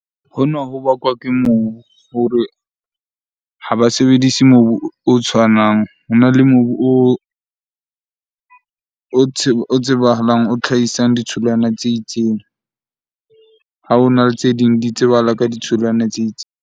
Hona ho bakwa ke mobu hore ha ba sebedise mobu o tshwanang. Hona le mobu o tsebahalang, o hlahisang ditholwana tse itseng. Ha hona le tse ding di tsebahala ka ditholwana tse itseng.